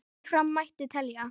Áfram mætti telja.